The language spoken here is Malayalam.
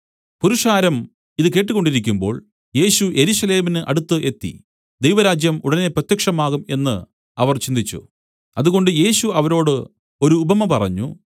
പുരുഷാരം ഇതു കേട്ടുകൊണ്ടിരിക്കുമ്പോൾ യേശു യെരൂശലേമിന് അടുത്ത് എത്തി ദൈവരാജ്യം ഉടനെ പ്രത്യക്ഷമാകും എന്നു അവർ ചിന്തിച്ചു അതുകൊണ്ട് യേശു അവരോട് ഒരു ഉപമ പറഞ്ഞു